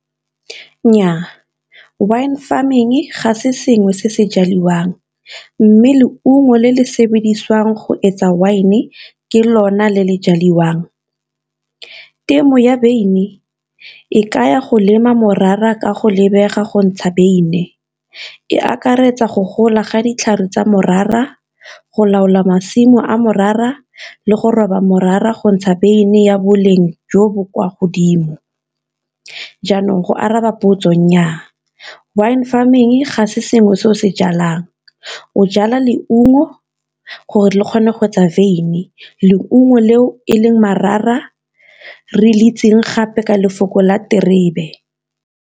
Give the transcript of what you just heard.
Nnyaa wine farming ga se sengwe se se jaliwang, mme leungo le le sebediswang go etsa wine ke lona le le jaliwang. Temo ya beine e kaya go lema morara ka go lebega go ntsha beine, e akaretsa go gola ga ditlhare tsa morara, go laola masimo a morara le go roba morara go ntsha beine ya boleng jo bo kwa godimo. Jaanong go araba dipotso nnyaa, wine farming ga se sengwe se o se jalang o jala leungo gore le kgone go etsa wyn, leungo leo e leng re le itseng gape ka lefoko la diterebe.